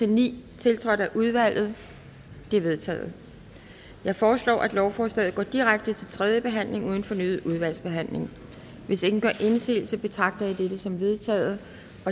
ni tiltrådt af udvalget de er vedtaget jeg foreslår at lovforslaget går direkte til tredje behandling uden fornyet udvalgsbehandling hvis ingen gør indsigelse betragter jeg det som vedtaget